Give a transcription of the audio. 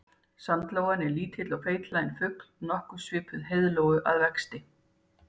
Sandlóan er lítill og feitlaginn fugl nokkuð svipuð heiðlóu að vexti.